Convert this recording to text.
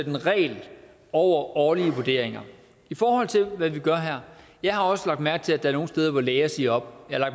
en regel over årlige vurderinger i forhold til hvad vi gør her jeg har også lagt mærke til at der er nogle steder hvor læger siger op jeg har